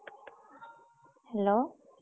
Hello।